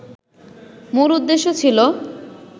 মূল উদ্দেশ্য ছিল